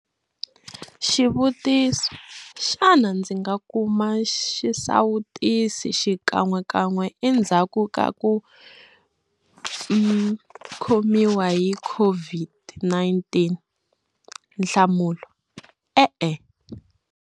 Xivutiso- Xana ndzi nga kuma xisawutisi xikan'wekan'we endzhaku ka ku khomiwa hi COVID-19? Nhlamulo, E-e.